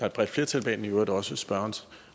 et bredt flertal bag den i øvrigt også spørgerens